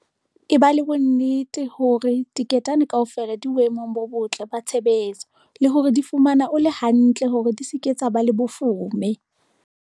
Eba le bonnete hore diketane kaofela di boemong bo botle ba tshebetso, le hore di fumana ole hantle hore di se ke tsa ba le mafoome.